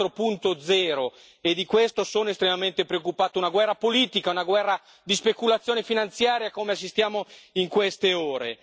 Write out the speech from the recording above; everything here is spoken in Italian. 4.0 e di questo sono estremamente preoccupato, una guerra politica, una guerra di speculazione finanziaria, come assistiamo in queste ore.